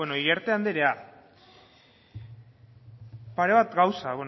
iriarte andrea pare bat gauza